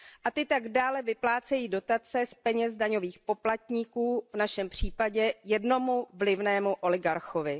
Ty tak dále vyplácejí dotace z peněz daňových poplatníků, v našem případě jednomu vlivnému oligarchovi.